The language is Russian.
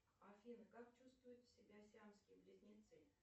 афина как чувствуют себя сиамские близнецы